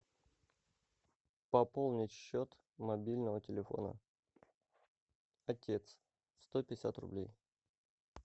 пополнить счет мобильного телефона отец сто пятьдесят рублей